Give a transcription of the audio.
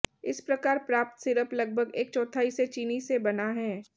इस प्रकार प्राप्त सिरप लगभग एक चौथाई से चीनी से बना है